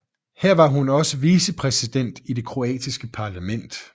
Her var hun også vicepræsident i det kroatiske parlament